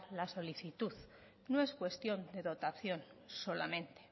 la solicitud no es cuestión de dotación solamente